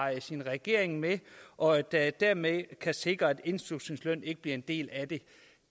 sin regering med og at det dermed kan sikres at indslusningsløn ikke bliver en del af det